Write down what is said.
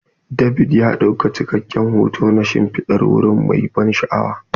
David ya ɗauki cikakken hoto na shimfidar wuri mai ban sha'awa.